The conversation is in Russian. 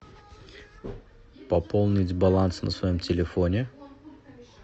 пополнить баланс на своем телефоне